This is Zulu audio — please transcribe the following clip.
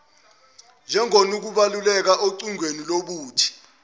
njengokunokubaluleka ocwaningweni lobuthi